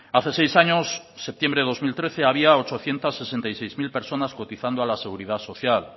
hace seis años septiembre dos mil trece había ochocientos sesenta y seis mil personas cotizando a la seguridad social